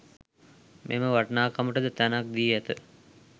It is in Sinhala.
මෙම වටිනාකමට ද තැනක් දී ඇත.